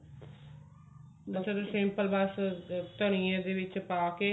simple ਬਸ ਧਨੀਏ ਦੇ ਵਿੱਚ ਪਾ ਕੇ